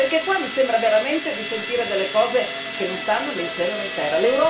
Perché qua mi sembra veramente di sentire delle cose che non stanno né in cielo né in terra.